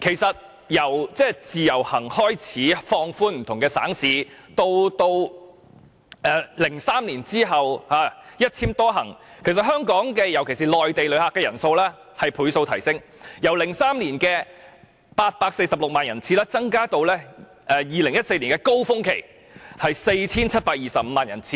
從自由行計劃放寬不同省市的旅客來港，至2003年後的"一簽多行"計劃，訪港的內地旅客人數以倍數上升，由2003年的846萬人次增加至2014年高峰期的 4,725 萬人次。